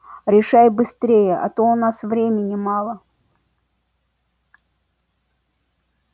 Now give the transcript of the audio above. решай быстрее а то у нас времени мало